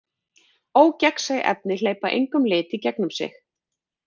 Ógegnsæ efni hleypa engum lit í gegnum sig.